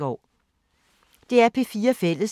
DR P4 Fælles